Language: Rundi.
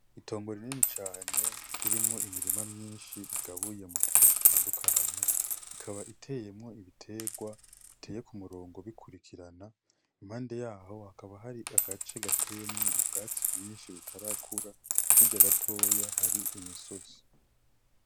Itongo rinini cane ririmwo imirima myinshi igabuye mu duce dutandukanye ikaba iteye ibitegwa biteye ku murongo bikurikirana impande yaho hakaba hari agace gateyemwo ubwatsi bwinshi butarakura hirya gatoya hari imisozi.